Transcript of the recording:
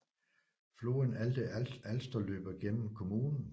Floden Alte Alster løber gennem kommunen